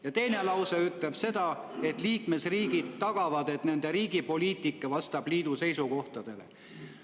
Ja teine lause ütleb seda: liikmesriigid tagavad, et nende riigi poliitika vastab liidu seisukohtadele.